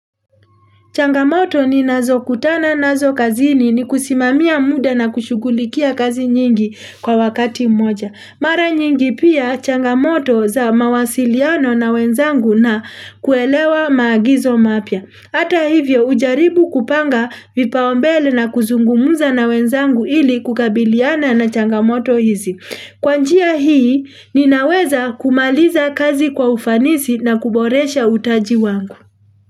Changamoto ninazo kutana nazo kazini ni kusimamia muda na kushughulikia kazi nyingi kwa wakati mmoja. Mara nyingi pia changamoto za mawasiliano na wenzangu na kuelewa maagizo mapya. Hata hivyo ujaribu kupanga vipaombele na kuzungumza na wenzangu ili kukabiliana na changamoto hizi. Kwa njia hii ninaweza kumaliza kazi kwa ufanisi na kuboresha utaji wangu.